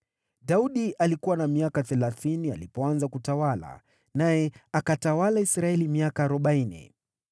Daudi alikuwa na miaka thelathini alipoanza kutawala, naye akatawala Israeli miaka arobaini.